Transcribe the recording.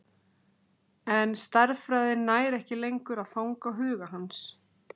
En stærðfræðin nær ekki lengur að fanga huga hans.